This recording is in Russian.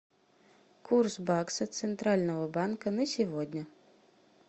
курс бакса центрального банка на сегодня